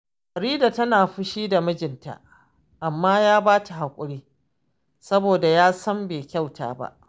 Farida tana fushi da mijinta, amma ya ba ta haƙuri, saboda ya san bai kyauta ba